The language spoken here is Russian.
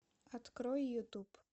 открой ютуб